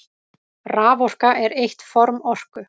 Raforka er eitt form orku.